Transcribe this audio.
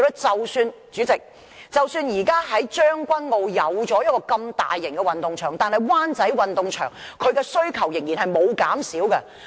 主席，即使現時將軍澳已有大型運動場，但是，灣仔運動場的需求仍然沒有減少。